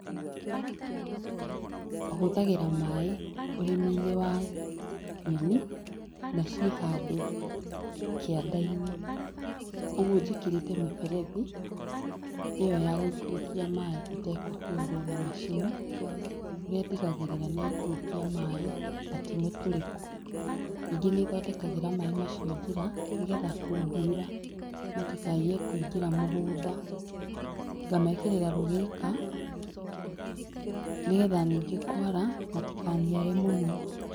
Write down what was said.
Hũthagĩra maĩ ũrĩmi-inĩ wa nyeni naciĩ handũ kĩanda-inĩ ũguo njĩkĩrĩte mĩberethi ĩyo yagũikũrũkia maĩ ĩtekũhũrwo na macini nĩ ndigagĩrĩra nĩ ya ikũrũkio maĩ na ti mĩtũrĩku ningĩ nĩ thondekagĩra maĩ macio njĩra nĩgetha kũngiura matikaiye kũingĩra mũgũnda ngamekĩrĩra rũgĩka nĩgetha ningĩ kwara matikaniare mũno.